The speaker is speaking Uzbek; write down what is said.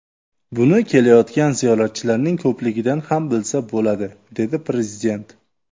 Buni kelayotgan ziyoratchilarning ko‘pligidan ham bilsa bo‘ladi”, dedi Prezident.